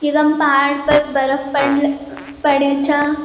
यखम पहाड पर बर्फ पढ़ पड़यां छा।